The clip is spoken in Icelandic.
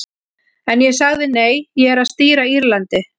En ég sagði nei, ég er að stýra Írlandi.